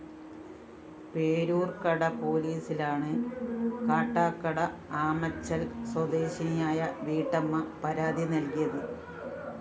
പേരൂര്‍ക്കട പോലീസിലാണ് കാട്ടാക്കട ആമച്ചല്‍ സ്വദേശിനിയായ വീട്ടമ്മ പരാതി നല്‍കിയത്